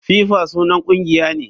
FIFA sunan kungiya ne.